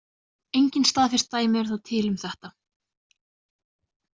Engin staðfest dæmi eru þó til um þetta.